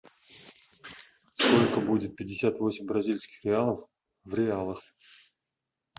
сколько будет пятьдесят восемь бразильских реалов в реалах